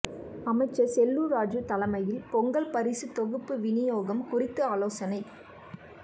அமைச்சர் செல்லூர் ராஜூ தலைமையில் பொங்கல் பரிசு தொகுப்பு விநியோகம் குறித்து ஆலோசனை